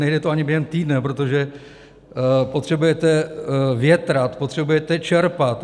Nejde to ani během týdne, protože potřebujete větrat, potřebujete čerpat.